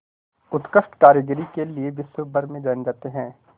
उत्कृष्ट कारीगरी के लिये विश्वभर में जाने जाते हैं